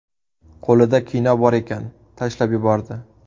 Qo‘lida kino bor ekan, tashlab yubordi.